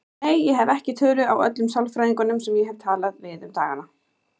Nei, ég hef ekki tölu á öllum sálfræðingunum sem ég hef talað við um dagana.